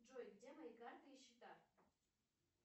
джой где мои карты и счета